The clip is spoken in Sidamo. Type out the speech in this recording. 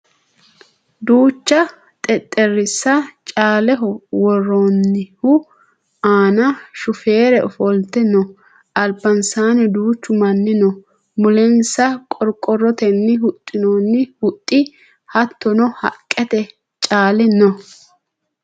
duucha xexxerrisa caaleho worroonihu aana shufeerre ofolte no albansaanni duuchu manni no mulensa qorqorrotenni huxxinoonni huxxi hattono haqqete caali no